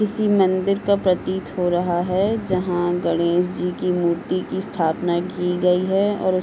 किसी मंदिर का प्रतीत हो रहा है। जहां गणेश जी की मूर्ति की स्थापना की गई है और --